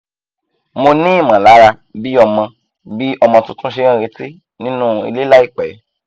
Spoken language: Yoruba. mo ní ìmọ̀lára bí ọmọ bí ọmọ tuntun ṣe ń retí nínú ilé láìpẹ́